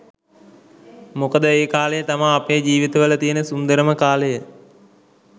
මොකද ඒ කාලය තමා අපේ ජීවිතවල තියන සුන්දරම කාලය